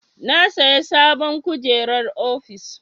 Na saya sabon kujerar ofis.